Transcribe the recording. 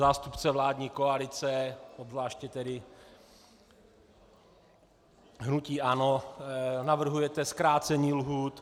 Zástupce vládní koalice, obzvláště tedy hnutí ANO, navrhujete zkrácení lhůt.